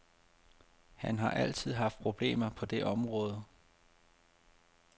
Han har altid haft problemer på det område.